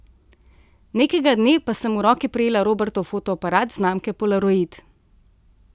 Nekega dne pa sem v roke prijela Robertov fotoaparat znamke Polaroid.